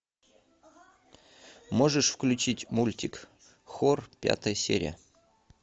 можешь включить мультик хор пятая серия